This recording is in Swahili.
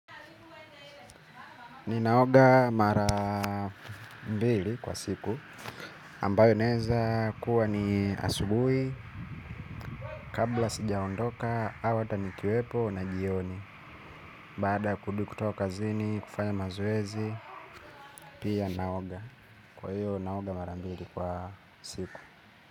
Ninaoga mara mbili kwa siku ambayo inaweza kuwa ni asubuhi. Kabla sijaondoka, au ata ni kiwepo na jioni baada ya kurudi kutoka kazini, kufanya mazoezi. Pia naoga, kwa hio naoga mara mbili kwa siku.